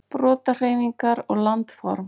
Brotahreyfingar og landform.